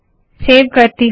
save करती हूँ